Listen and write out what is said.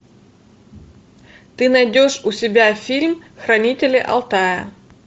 ты найдешь у себя фильм хранители алтая